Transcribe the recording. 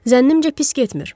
Zənnimcə pis getmir.